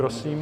Prosím.